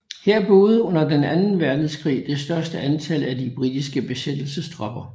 Her boede under den anden Verdenskrig det største antal af de britiske besættelsestropper